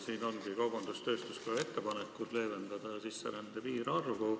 Siin ongi kaubandus-tööstuskoja ettepanekud selle kohta, et leevendada sisserände piirarvu.